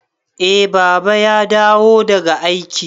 Eh Baba ya dawo daga aiki.